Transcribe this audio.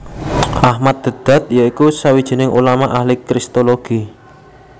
Ahmad Deedat ya iku sawijining ulama ahli kristologi